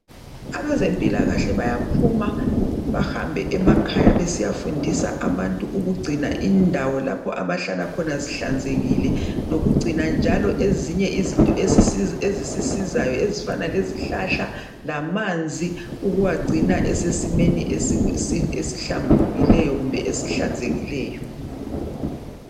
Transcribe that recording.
Abezempilakahle bayaphuma bahambe emakhaya besiyafundisa abantu ukugcina indawo lapho abahlala khona zihlanzekile, lokugcina njalo ezinye izinto ezisisizayo ezifana lezihlahla lamanzi ukuwagcina esesimeni esihlambulukileyo kumbe esihlanzekileyo.